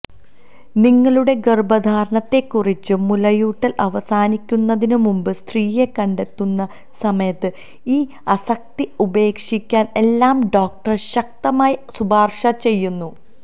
നിങ്ങളുടെ ഗർഭധാരണത്തെക്കുറിച്ചും മുലയൂട്ടൽ അവസാനിക്കുന്നതിനുമുമ്പ് സ്ത്രീയെ കണ്ടെത്തുന്ന സമയത്ത് ഈ ആസക്തി ഉപേക്ഷിക്കാൻ എല്ലാ ഡോക്ടർ ശക്തമായി ശുപാർശ ചെയ്യുന്നു